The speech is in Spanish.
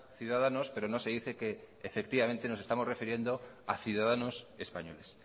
ciudadanos pero no se dice que efectivamente nos estamos refiriendo a ciudadanos españoles